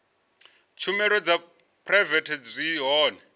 tshumelo dza phuraivete zwi hone